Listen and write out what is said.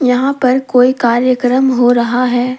यहां पर कोई कार्यक्रम हो रहा है।